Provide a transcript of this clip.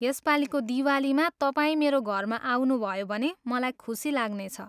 यसपालिको दिवालीमा तपाईँ मेरो घरमा आउनुभयो भने मलाई खुसी लाग्नेछ।